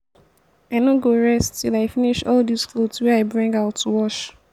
i no go rest till i finish all dis cloth wey i bring out to wash